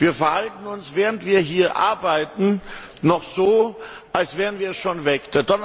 Wir verhalten uns, während wir hier arbeiten, so, als wären wir schon weg.